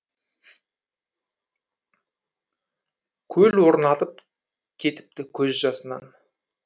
көл орнатып кетіпті көз жасынан